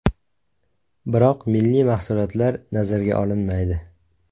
Biroq milliy mahsulotlar nazarga olinmaydi.